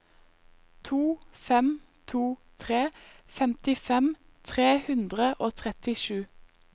to fem to tre femtifem tre hundre og trettisju